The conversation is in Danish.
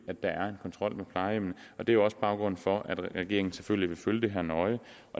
at der er en kontrol med plejehjemmene det er også baggrunden for at regeringen selvfølgelig vil følge det her nøje